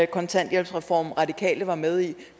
kontanthjælpsreform radikale var med i